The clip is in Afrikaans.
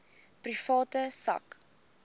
private sak